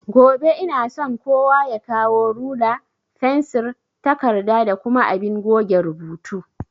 Gobe inason kowa ya kawo rula, fensir, takarda da kuma abin goge rubutu